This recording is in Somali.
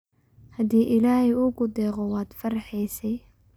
Hadi illahey uukudeqo wadfarxesay.